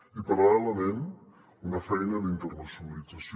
i paral·lelament una feina d’internacionalització